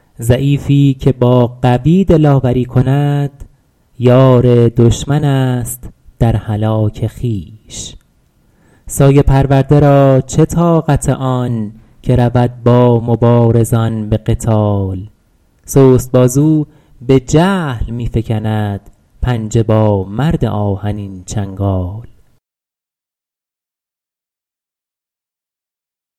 ضعیفی که با قوی دلاوری کند یار دشمن است در هلاک خویش سایه پرورده را چه طاقت آن که رود با مبارزان به قتال سست بازو به جهل می فکند پنجه با مرد آهنین چنگال